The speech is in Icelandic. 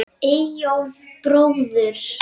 Eyjólf bróður.